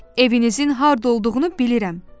Evinizin harda olduğunu bilirəm,